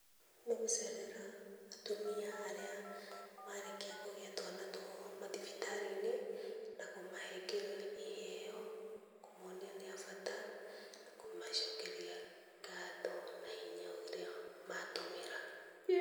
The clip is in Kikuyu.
Nĩ gũcerera atumia arĩa marĩkia kũgĩa twana twao mathibitarĩ-inĩ, na kũmahengera iheo kũmonia nĩ a bata, na kũmacokeria ngatho na hinya ũrĩa matũmĩra.